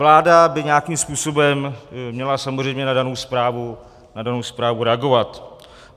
Vláda by nějakým způsobem měla samozřejmě na danou zprávu reagovat.